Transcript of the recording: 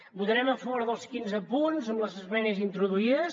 votarem a favor dels quinze punts amb les esmenes introduïdes